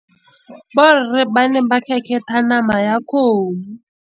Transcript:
Borre ba ne ba kgêkgêtha nama ya kgomo.